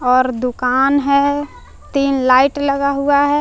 और दुकान है तीन लाइट लगा हुआ है।